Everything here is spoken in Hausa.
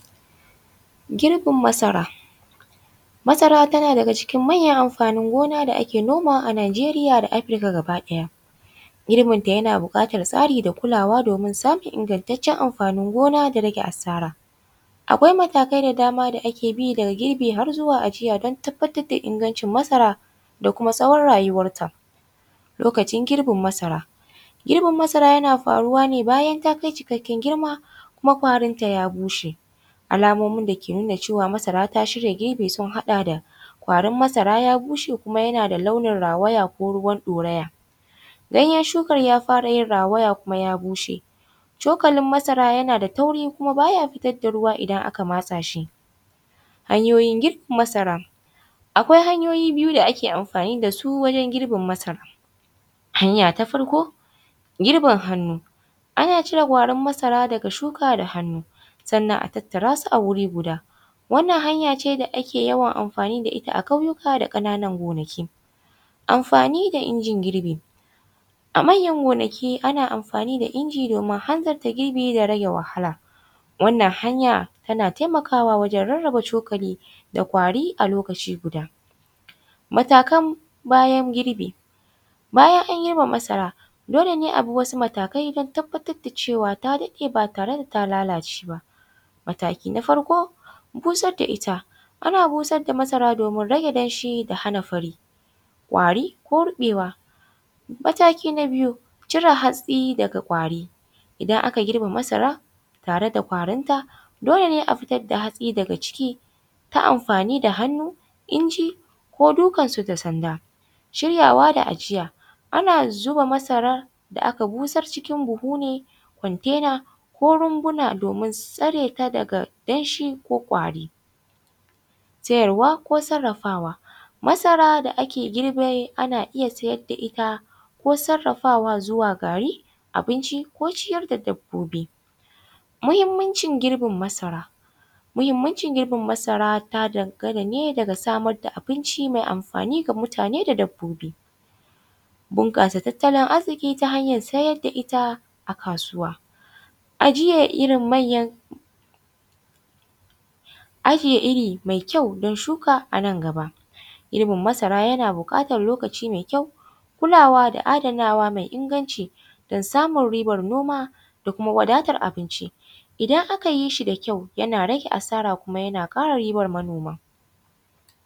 Girbin masara, masara tana daga cikin manyan amfanin gona da ake nomawa Nigerita da Africa gaba ɗaya, girbin ta yana bukatar tsari da kulawa domin samun ingantacen amfanin gona da rage asara, akwai matakai da dama da ake bi daga girbi har zuwa ajiya don tabbatar da ingancin masara da kuma tsawon rayuwanta lokacin girbin masara, girbin masara yana faruwa ne bayan ta kai cikakken girma kuma kwarinta ta bushe, alamomi da ke nuna cewa masara ta shirya girbi sun haɗa da kwarin masara ya bushe kuma yana launin rawaya ko ruwan ɗoraya, ganyen shukan ya fara yin rawaya kuma ya bushe, shukalin masara yana da tauri kuma baya fitar da ruwa idan aka matsa shi, hanyoyin girbe masara akwai hanyoyi biyu da ake amfani da su wajen girbin masara hanya ta farko girbin hannu, ana cire gwarin masara daga shuka da hannu sannan a tattara su a wuri guda, wannan hanya ce da ake yawan amfani da ita a ƙauyuka da kananan gonaki, amfani da injin girbi a manyan gonaki ana amfani da inji domin hanzarta girbi da rage wahala wannan hanya tana taimakawa wajen rarraba cukali da kwari a lokaci guda, matakan bayan girbi bayan an girba masara dole ne a bi wasu matakai don tabbatar da cewa ta ɗade ba tare da ta lalace ba, mataki na farko busar da ita ana busar da masara domin rage damshi da hana fari ƙwari ko ruɓewa, mataki na biyu cire hatsi daga ƙwari idan aka girbe masara tare da ƙwarin ta dole ne a fitar da hatsi daga ciki ta amfani da hannu inji ko dukan sanda shiryawa da ajiya, ana zuba masara da aka busar cikin buhu contener ko rumbuna domin tsare ta daga damshi ko ƙwari siyarwa ko sarafawa masara da ake girbe ana iya siyar da ita ko sarafawa zuwa gari abinci ko ciyar da dabbobi, muhimmancin girbin masara muhimmancin girbin masara ta dangana ne daga samar da abinci mai amfani ga mutane da dabbobi, bunkasa tattalin arziki ta hanyar sayar da ita a kasuwa ajiyan irin manyan ajiye iri mai kyau don shuka a nan gaba, girbin masara yana bukatan lokaci ne mai kyau kulawa da adanawa mai inganci don samun ribar noma da kuma wadatar abinci idan aka yi shi da kyau yana rage asara kuma yana kara ribar manoma